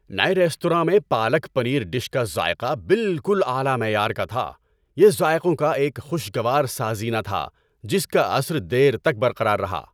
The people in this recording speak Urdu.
نئے ریستوراں میں پالک پنیر ڈش کا ذائقہ بالکل اعلی معیار کا تھا۔ یہ ذائقوں کا ایک خوشگوار سازینہ تھا جس کا اثر دیر تک برقرار رہا۔